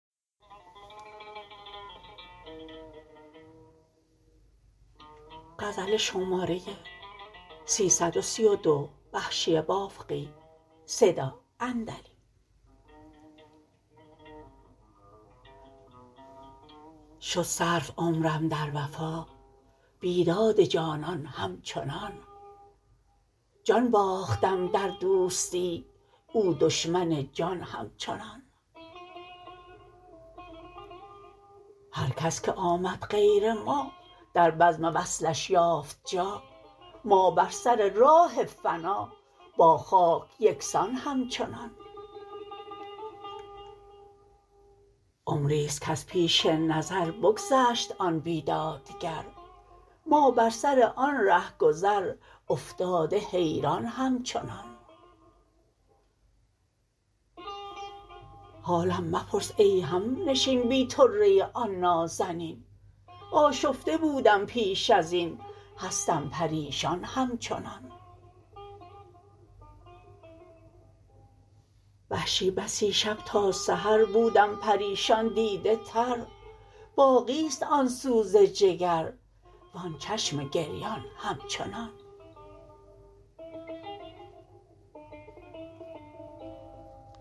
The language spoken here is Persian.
شد صرف عمرم در وفا بیداد جانان همچنان جان باختم در دوستی او دشمن جان همچنان هر کس که آمد غیر ما در بزم وصلش یافت جا ما بر سر راه فنا با خاک یکسان همچنان عمریست کز پیش نظر بگذشت آن بیدادگر ما بر سر آن رهگذر افتاده حیران همچنان حالم مپرس ای همنشین بی طره آن نازنین آشفته بودم پیش ازین هستم پریشان همچنان وحشی بسی شب تا سحر بودم پریشان دیده تر باقی ست آن سوز جگر وان چشم گریان همچنان